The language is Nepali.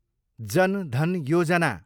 जन धन योजना